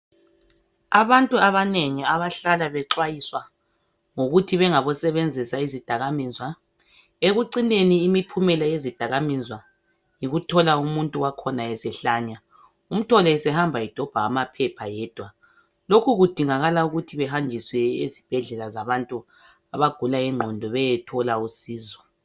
Abantu abanengi abahlala bexwayiswa ngokuthi bengabo sebenzisa izidaka mizwa ekucine imiphumela yezidaka mizwa yikuthola umuntu wakhona esehlanya umthole edobha amaphepha yedwa lokhu kudingakala ukuthi abahanjiswe esibhedlela zabantu abagula ingqondo bayethola usizo